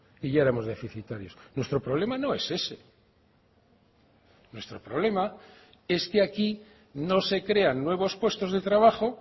y ya éramos deficitarios nuestro problema no es ese nuestro problema es que aquí no se crean nuevos puestos de trabajo